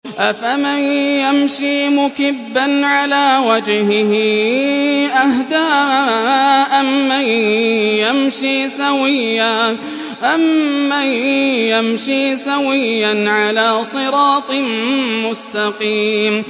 أَفَمَن يَمْشِي مُكِبًّا عَلَىٰ وَجْهِهِ أَهْدَىٰ أَمَّن يَمْشِي سَوِيًّا عَلَىٰ صِرَاطٍ مُّسْتَقِيمٍ